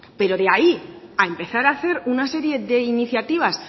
pero de ahí a empezar a hacer una serie de iniciativas